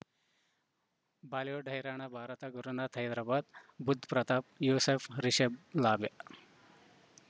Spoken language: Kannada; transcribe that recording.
ಬಾಲಿವುಡ್ ಹೈರಾಣ ಭಾರತ ಗುರುನಾಥ ಹೈದರಾಬಾದ್ ಬುಧ್ ಪ್ರತಾಪ್ ಯೂಸುಫ್ ರಿಷಬ್ ಲಾಭೆ